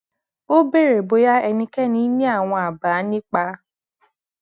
ó béèrè bóyá ẹnikéni ní àwọn àbá nípa